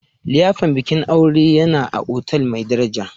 liyafar bikin aure yana a otal mai daraja